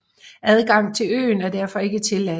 Adgang til øen er derfor ikke tilladt